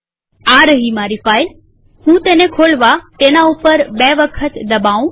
આ રહી મારી ફાઈલહું તેને ખોલવા તેના ઉપર બે વખત દબાઉં